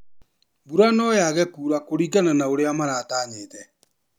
Mbura noyage kura kuringana na ũrĩa maratanyĩte.